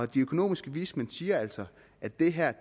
de økonomiske vismænd siger altså at det her